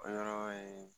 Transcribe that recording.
O yɔrɔ ye